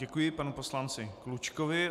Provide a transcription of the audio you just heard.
Děkuji panu poslanci Klučkovi.